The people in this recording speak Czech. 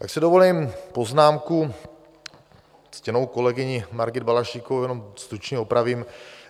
Pak si dovolím poznámku, ctěnou kolegyni Margit Balaštíkovou jenom stručně opravím.